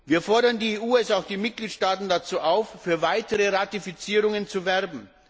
Wir fordern die EU sowie auch die Mitgliedstaaten dazu auf, für weitere Ratifizierungen zu werben.